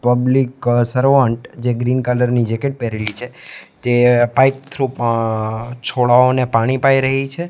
Public servant જે green colour ની jacket પેહરેલી છે તે પાઈપ થ્રુ અઅ છોડાઓને પાણી પાઇ રહી છે.